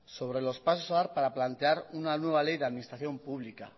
pasos a dar para plantear una nueva ley de administración pública